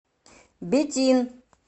бетин